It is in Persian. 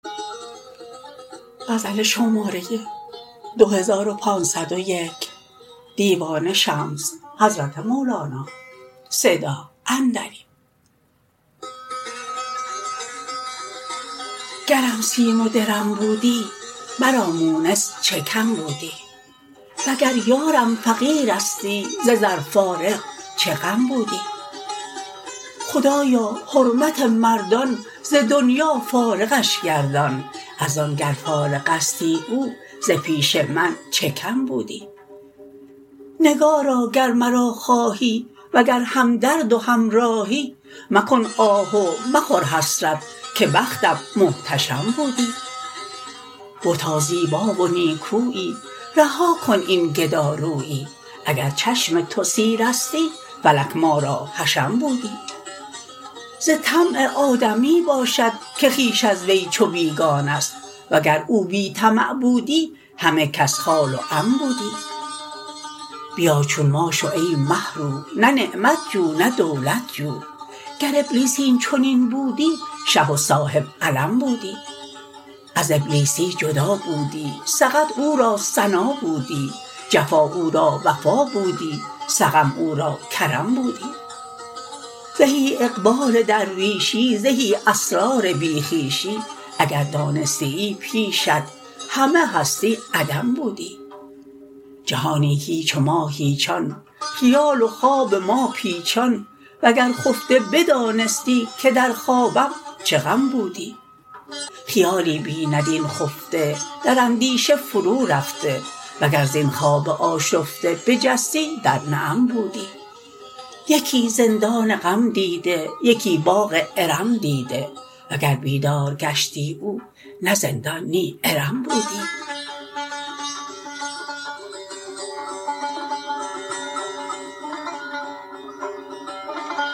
گرم سیم و درم بودی مرا مونس چه کم بودی وگر یارم فقیرستی ز زر فارغ چه غم بودی خدایا حرمت مردان ز دنیا فارغش گردان از آن گر فارغستی او ز پیش من چه کم بودی نگارا گر مرا خواهی وگر همدرد و همراهی مکن آه و مخور حسرت که بختم محتشم بودی بتا زیبا و نیکویی رها کن این گدارویی اگر چشم تو سیرستی فلک ما را حشم بودی ز طمع آدمی باشد که خویش از وی چو بیگانه است وگر او بی طمع بودی همه کس خال و عم بودی بیا چون ما شو ای مه رو نه نعمت جو نه دولت جو گر ابلیس این چنین بودی شه و صاحب علم بودی از ابلیسی جدا بودی سقط او را ثنا بودی جفا او را وفا بودی سقم او را کرم بودی زهی اقبال درویشی زهی اسرار بی خویشی اگر دانستیی پیشت همه هستی عدم بودی جهانی هیچ و ما هیچان خیال و خواب ما پیچان وگر خفته بدانستی که در خوابم چه غم بودی خیالی بیند این خفته در اندیشه فرورفته وگر زین خواب آشفته بجستی در نعم بودی یکی زندان غم دیده یکی باغ ارم دیده وگر بیدار گشتی او نه زندان نی ارم بودی